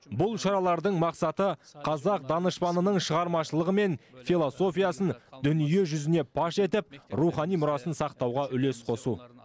бұл шаралардың мақсаты қазақ данышпанының шығармашылығы мен философиясын дүние жүзіне паш етіп рухани мұрасын сақтауға үлес қосу